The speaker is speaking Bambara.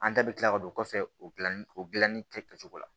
An bɛɛ bɛ kila ka don o kɔfɛ o dilanni o dilanni kɛ kɛcogo la